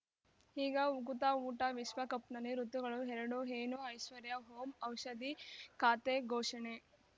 ಈಗ ಉಕುತ ಊಟ ವಿಶ್ವಕಪ್‌ನಲ್ಲಿ ಋತುಗಳು ಎರಡು ಏನು ಐಶ್ವರ್ಯಾ ಓಂ ಔಷಧಿ ಖಾತೆ ಘೋಷಣೆ